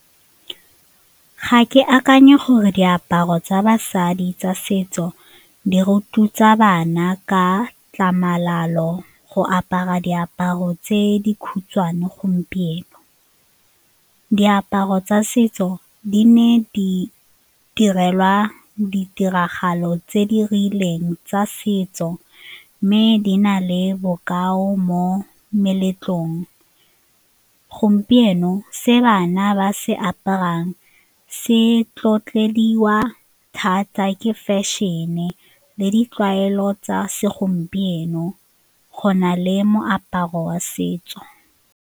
Ga ke akanya gore diaparo tsa basadi tsa setso di rotloetsa bana ka tlhamalalo go apara diaparo tse di khutshwane gompieno. Diaparo tsa setso di ne di direlwa ditiragalo tse di rileng tsa setso mme di na le bokao mo meletlong. Gompieno se bana ba se aparang se thata ke fashion-e le ditlwaelo tsa segompieno go na le moaparo wa setso.